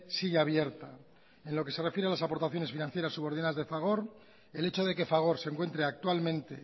sigue abierta en lo que se refiere a las aportaciones financieras subordinadas de fagor el hecho de que fagor se encuentre actualmente